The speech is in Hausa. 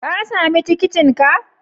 Ka sami tikitinka?